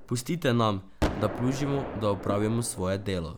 Pustite nam, da plužimo, da opravimo svoje delo.